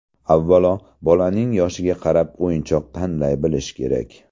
Avvalo, bolaning yoshiga qarab o‘yinchoq tanlay bilish kerak.